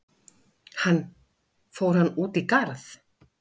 Hann: Fór hann út í garð?